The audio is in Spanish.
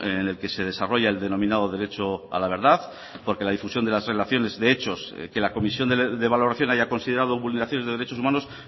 en el que se desarrolla el denominado derecho a la verdad porque la difusión de las relaciones de hechos que la comisión de valoración haya considerado vulneraciones de derechos humanos